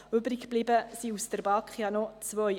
Übrig geblieben sind aus der BaK zwei.